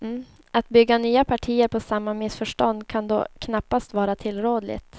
Att bygga nya partier på samma missförstånd kan då knappast vara tillrådligt.